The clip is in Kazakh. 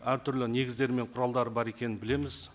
әртүрлі негіздер мен құралдар бар екенін білеміз